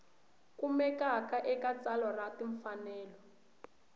kumekaka eka tsalwa ra timfanelo